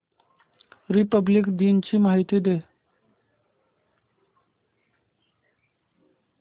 Republic दिन ची माहिती दे